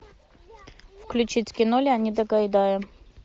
включить кино леонида гайдая